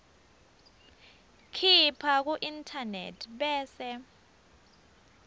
khipha kuinternet bese